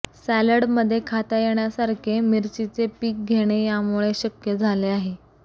सॅलडमध्ये खाता येण्यासारखे मिरचीचे पीक घेणे यामुळे शक्य झाले आहे